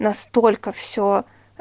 настолько всё а